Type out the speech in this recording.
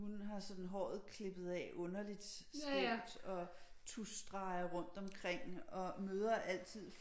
Hun har sådan håret klippet af underligt skævt og tuschstreger rundt omkring og møder altid